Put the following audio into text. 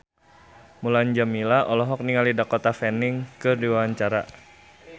Mulan Jameela olohok ningali Dakota Fanning keur diwawancara